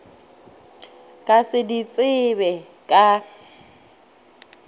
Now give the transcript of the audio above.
ka se di tsebe ka